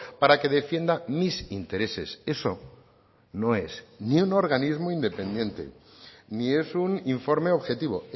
para que defienda mis intereses eso no es ni un organismo independiente ni es un informe objetivo